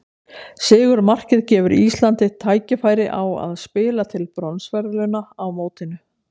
Sigurmarkið gefur Íslandi tækifæri á að spila til bronsverðlauna á mótinu.